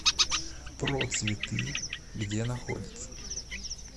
процветы где находится